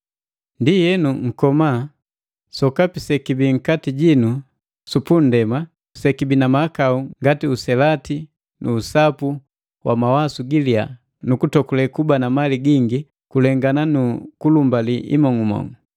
Ndienu nkoma sokapi sekibi nkati jinu su pundema sekibii na mahakau ngati uselati nu usapu mawasu giliya nu kutokule kuliya na kutokule kuba na mali gingi kulengana nu kulumbali imong'umong'u.